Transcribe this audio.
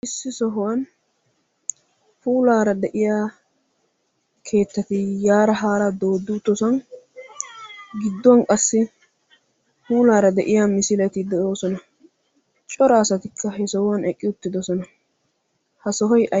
Issi sohuwaan puulaara de"iyaa keettati yaara haara dooddi uttosan gidduwan qassi puulaara de"iyaa misileti de"oosona. Cora asatikka he sohuwan eqqi uttidosona. Ha sohoy ay...